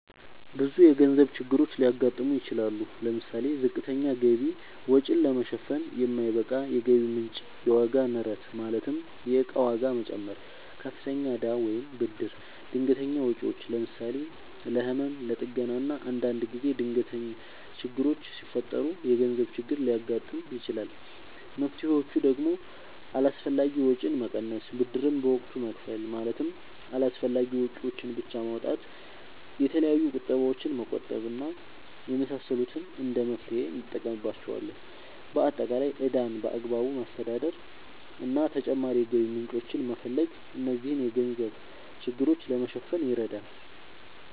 ብዙ የገንዘብ ችግሮች ሊያጋጥሙ ይችላሉ። ለምሳሌ፦ ዝቅተኛ ገቢ(ወጪን ለመሸፈን የማይበቃ የገቢ ምንጭ) ፣የዋጋ ንረት ማለትም የእቃ ዋጋ መጨመር፣ ከፍተኛ እዳ ወይም ብድር፣ ድንገተኛ ወጪዎች ለምሳሌ፦ ለህመም፣ ለጥገና እና አንዳንድ ጊዜ ድንገት ችግሮች ሲፈጠሩ የገንዘብ ችግር ሊያጋጥም ይችላል። መፍትሔዎቹ ደግሞ አላስፈላጊ ወጪን መቀነስ፣ ብድርን በወቅቱ መክፈል ማለትም አስፈላጊ ወጪዎችን ብቻ ማውጣት፣ የተለያዩ ቁጠባዎችን መቆጠብ እና የመሳሰሉት እንደ መፍትሔ እንጠቀምባቸዋለን። በአጠቃላይ ዕዳን በአግባቡ ማስተዳደር እና ተጨማሪ የገቢ ምንጮችን መፈለግ እነዚህን የገንዘብ ችግሮች ለማሸነፍ ይረዳሉ።